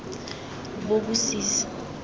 bobosisi